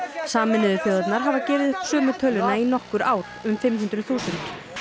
sameinuðu þjóðirnar hafa gefið upp sömu töluna í nokkur ár um fimm hundruð þúsund